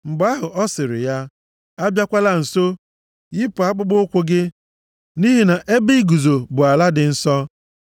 Mgbe ahụ, ọ sịrị ya, “Abịakwala nso. Yipụ akpụkpọụkwụ gị, nʼihi na ebe i guzo bụ ala dị nsọ.”